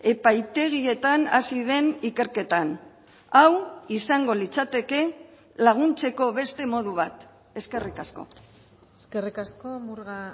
epaitegietan hasi den ikerketan hau izango litzateke laguntzeko beste modu bat eskerrik asko eskerrik asko murga